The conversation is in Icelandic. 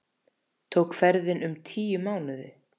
Tók ferðin um tíu mánuði.